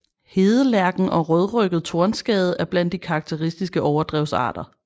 Hedelærken og rødrygget tornskade er blandt de karakteristiske overdrevsarter